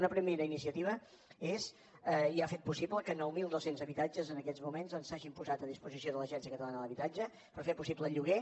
una primera iniciativa és i ha fet possible que nou mil dos cents habitatges en aquests moments s’hagin posat a disposició de l’agència catalana de l’habitatge per fer possible el lloguer